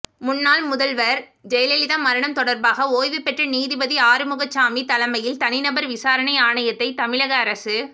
முன்னாள் முதல்வர் ஜெயலலிதா மரணம் தொடர்பாக ஓய்வு பெற்ற நீதிபதி ஆறுமுகசாமி தலைமையில் தனிநபர் விசாரணை ஆணையத்தை தமிழக அரசு